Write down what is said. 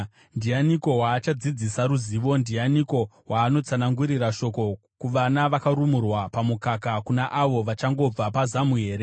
“Ndianiko waachadzidzisa ruzivo? Ndianiko waanotsanangurira shoko? Kuvana vakarumurwa pamukaka, kuna avo vachangobva pazamu here?